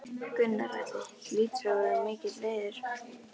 Gunnar Atli: Hlýtur að vera mikill heiður?